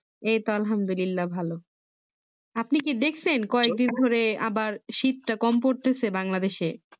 এই তো আলহামদুল্লিলা ভালো আপনি কি দেখছেন কয়েক দিন ধরে আবার শীতটা কম পড়তেছে Bangladeshe